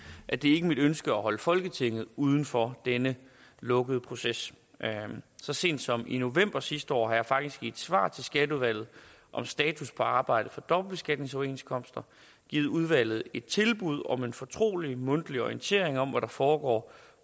at det ikke er mit ønske at holde folketinget uden for denne lukkede proces så sent som i november sidste år har jeg faktisk i et svar til skatteudvalget om status på arbejdet for dobbeltbeskatningsoverenskomster givet udvalget et tilbud om en fortrolig mundtlig orientering om hvad der foregår